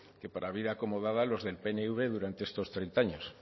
que para vida acomodada los del pnv durante estos treinta año